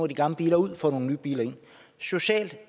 de gamle biler ud og få nogle nye biler ind socialt